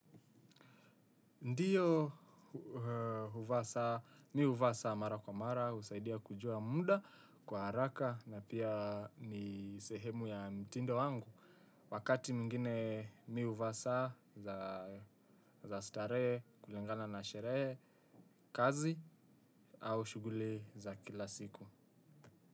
Ndiyo huvaa saa mi uvaa saa mara kwa mara, usaidia kujua muda, kwa haraka na pia ni sehemu ya mtindo wangu. Wakati mwingine mi uvaa saa za starehe, kulingana na sherehe, kazi au shughuli za kila siku.